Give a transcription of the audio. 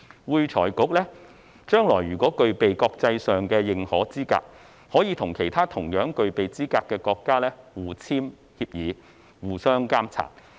會財局將來如果具備國際認可資格，可以與其他同樣具備資格的國家互簽協議，互相監察。